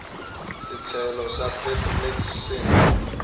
setshelo sa witblits se neng